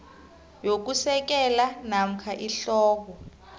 yokusekela namkha ihloko